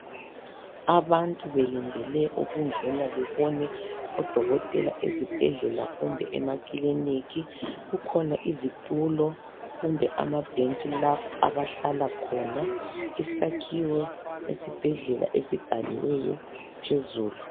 Abantu belindele ukungena bebone odokotela ezibhedlela kumbe emakiliniki, kukhona izitulo kumbe amabhentshi lapho abahlala khona. Isakhiwo sesibhedlela esibhaliweyo phezulu.